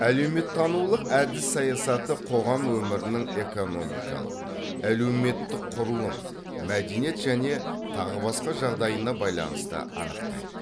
әлеуметтанулық әдіс саясаты қоғам өмірінің экономикалық әлеуметтік құрылым мәдениет және тағы басқа жағдайына байланысты анықтайды